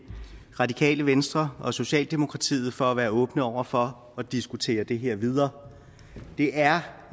radikale venstre og socialdemokratiet for at være åbne over for at diskutere det her videre det er